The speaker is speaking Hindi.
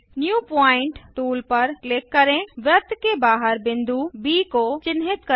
न्यू पॉइंट टूल पर क्लिक करें वृत्त के बाहर बिंदु ब को चिन्हित करें